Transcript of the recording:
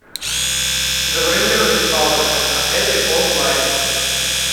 забронировать спа в этом отеле онлайн